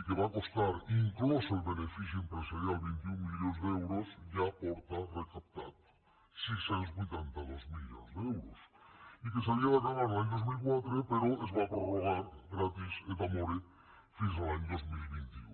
i que va costar inclòs el benefici empresarial vint un milions d’euros ja porta recaptat sis cents i vuitanta dos milions d’euros i que s’havia d’acabar l’any dos mil quatre però es va prorrogar gratis et amore fins a l’any dos mil vint u